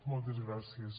moltes gràcies